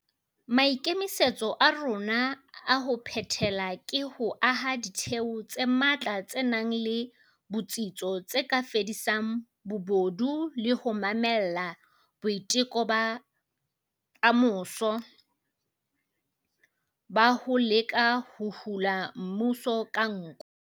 Maikemisetso a rona a ho phethela ke ho aha ditheo tse matla tse nang le botsitso tse ka fedisang bobodu le ho mamella boiteko ba kamoso ba ho leka ho hula mmuso ka nko.